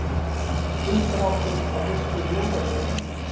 Uppdráttur að fyrstu ljósaperunni.